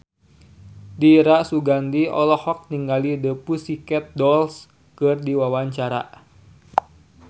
Dira Sugandi olohok ningali The Pussycat Dolls keur diwawancara